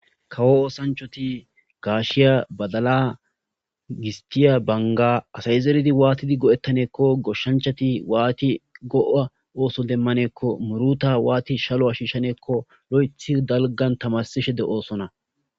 Kawo oosanchoti gaashiya badala gistiya banga asay zeridi waatidi go'ettaneekko goshshanchati waati go'a ooso demmaneekko muruta waati shalo ashiishaneekko lo'ethi dalgan tamasishe deoosona.